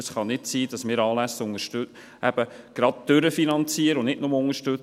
Es kann nicht sein, dass wir Anlässe eben gerade durchfinanzieren und nicht nur unterstützen.